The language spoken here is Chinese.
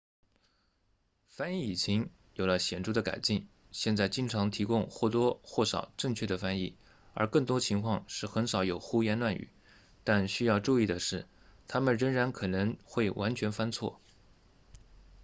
翻译引擎有了显著的改进现在经常提供或多或少正确的翻译而更多情况是很少有胡言乱语但需要注意的是他们仍然可能会完全翻错